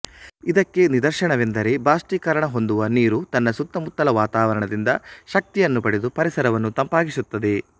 ಇದಕ್ಕೆ ನಿದರ್ಶನವೆಂದರೆ ಬಾಷ್ಪೀಕರಣ ಹೊಂದುವ ನೀರು ತನ್ನ ಸುತ್ತಮುತ್ತಲ ವಾತಾವರಣದಿಂದ ಶಕ್ತಿಯನ್ನು ಪಡೆದು ಪರಿಸರವನ್ನು ತಂಪಾಗಿಸುತ್ತದೆ